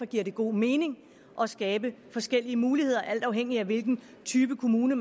giver god mening at skabe forskellige muligheder alt afhængig af hvilken type kommune